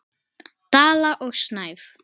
Dala og Snæf.